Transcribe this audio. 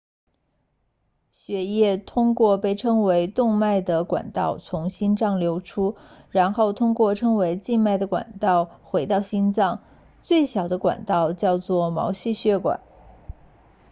血液通过被称为动脉的管道从心脏流出然后通过称为静脉的管道回流到心脏最小的管道叫做毛细血管